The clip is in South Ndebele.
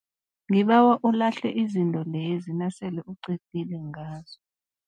Ngibawa ulahle izinto lezi nasele uqedile ngazo.